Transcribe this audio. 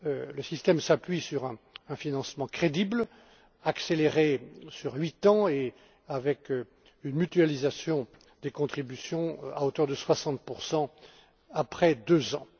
Le système s'appuie sur un financement crédible, accéléré sur huit ans et avec une mutualisation des contributions à hauteur de 60 après deux ans.